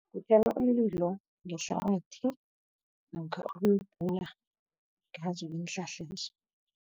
Uthela umlilo ngehlabathi, namkha ukuwubhula ngazo